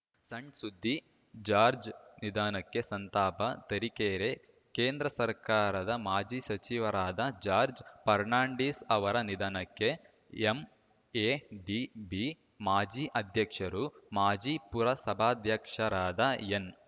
ಸಣ್‌ಸುದ್ದಿ ಜಾರ್ಜ್ ನಿಧನಕ್ಕೆ ಸಂತಾಪ ತರೀಕೆರೆ ಕೇಂದ್ರ ಸರ್ಕಾರದ ಮಾಜಿ ಸಚಿವರಾದ ಜಾರ್ಜ್ ಫರ್ನಾಂಡಿಸ್‌ ಅವರ ನಿಧನಕ್ಕೆ ಎಂಎಡಿಬಿ ಮಾಜಿ ಅಧ್ಯಕ್ಷರು ಮಾಜಿ ಪುರಸಭಾಧ್ಯಕ್ಷರಾದ ಎನ್‌